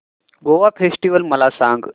Goa festival मला सांग